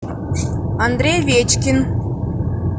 андрей овечкин